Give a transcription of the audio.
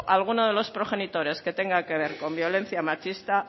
alguno de los progenitores que tenga que ver con violencia machista